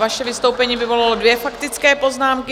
Vaše vystoupení vyvolalo dvě faktické poznámky.